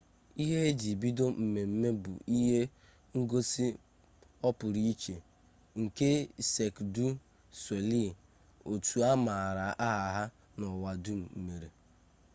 ihe e ji bido mmemme bụ ihe ngosi ọpụrụiche nke sek du solei otu a maara aha ha n'ụwa dum mere